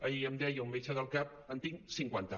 ahir em deia un metge del cap en tinc cinquanta